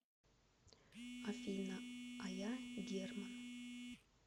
афина а я герман